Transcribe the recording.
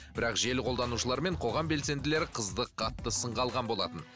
бірақ желі қолдануышылары мен қоғам белсенділері қызды қатты сынға алған болатын